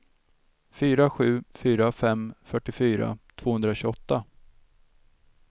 fyra sju fyra fem fyrtiofyra tvåhundratjugoåtta